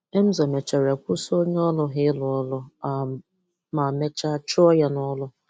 Emzọr mechara kwụsị onye ọrụ ha ịrụ ọrụ um ma mechaa chụọ ya nọrụ.